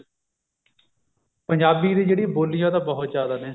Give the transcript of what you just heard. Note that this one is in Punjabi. ਪੰਜਾਬੀ ਦੀ ਜਿਹੜੀ ਬੋਲੀ ਆ ਉਹ ਤਾਂ ਬਹੁਤ ਜ਼ਿਆਦਾ ਨੇ